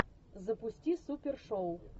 запусти супер шоу